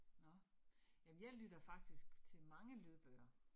Nåh, jamen jeg lytter faktisk til mange lydbøger